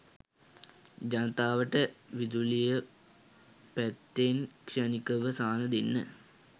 ජනතාවට විදුලිය පැත්තෙන් ක්ෂණිකව සහන දෙන්න